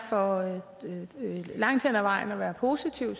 for langt hen ad vejen at være positiv